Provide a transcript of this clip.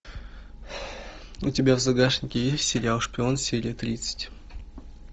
у тебя в загашнике есть сериал шпион серия тридцать